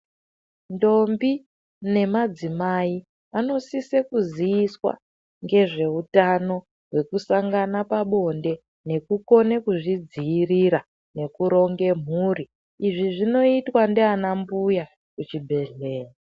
Ndombi nemadzimai anosise kuziiswa ngezveutano hwekusangana pabonde nekukone kuzvidziirira nekuronge mhuri izvi zvinoitwa ndiana mbuya kuchibhedhleya.